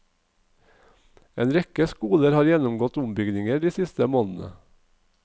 En rekke skoler har gjennomgått ombygginger de siste månedene.